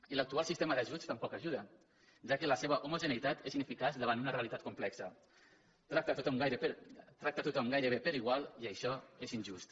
i l’actual sistema d’ajuts tampoc hi ajuda ja que la seva homogeneïtat és ineficaç davant una reali·tat complexa tracta tothom gairebé per igual i això és injust